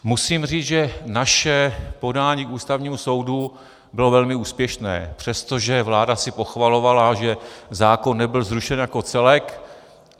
Musím říct, že naše podání k Ústavnímu soudu bylo velmi úspěšné, přestože vláda si pochvalovala, že zákon nebyl zrušen jako celek.